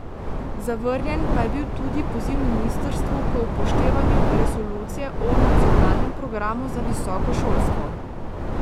Zavrnjen pa je bil tudi poziv ministrstvu k upoštevanju resolucije o nacionalnem programu za visoko šolstvo.